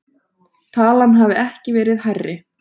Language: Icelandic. Talan hafi ekki verið hærri